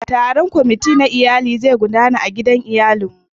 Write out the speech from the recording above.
Taron kwamati na iyalin zai gudana a gidan iyalin mu.